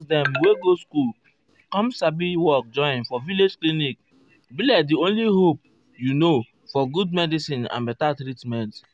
nurse dem wey go school com sabi work join for village clinic be like di only hope you know for good medicin and beta treatment.